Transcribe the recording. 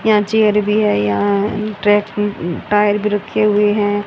यहां चेयर भी है यहां ट्रैक टायर भी रखे हुए है।